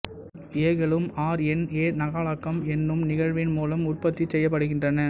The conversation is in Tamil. ஏ களும் ஆர் என் ஏ நகலாக்கம் என்னும் நிகழ்வின் மூலம் உற்பத்தி செய்யப்படுகின்றன